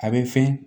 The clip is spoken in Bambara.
A bɛ fɛn